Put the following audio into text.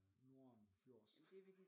Nordenfjords